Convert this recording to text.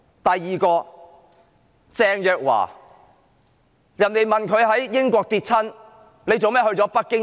第二位是鄭若驊，有人問她為何在英國跌倒，卻要到北京醫治？